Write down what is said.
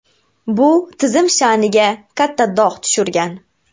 Bu tizim sha’niga katta dog‘ tushirgan.